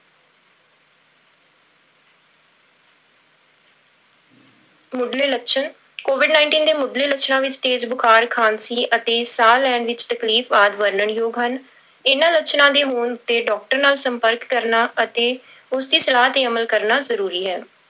ਮੁੱਢਲੇ ਲੱਛਣ covid nineteen ਦੇ ਮੁੱਢਲੇ ਲੱਛਣਾਂ ਵਿੱਚ ਤੇਜ਼ ਬੁਖਾਰ, ਖ਼ਾਂਸੀ ਅਤੇ ਸਾਹ ਲੈਣ ਵਿੱਚ ਤਕਲੀਫ਼ ਆਦਿ ਵਰਣਨ ਯੋਗ ਹਨ, ਇਹਨਾਂ ਲੱਛਣਾਂ ਦੇ ਹੋਣ ਤੇ doctor ਨਾਲ ਸੰਪਰਕ ਕਰਨਾ ਅਤੇ ਉਸਦੀ ਸਲਾਹ ਤੇ ਅਮਲ ਕਰਨਾ ਜ਼ਰੂਰੀ ਹੈ।